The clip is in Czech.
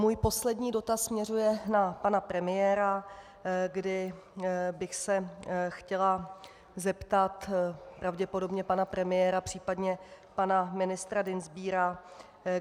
Můj poslední dotaz směřuje na pana premiéra, kdy bych se chtěla zeptat pravděpodobně pana premiéra, případně pana ministra Dienstbiera.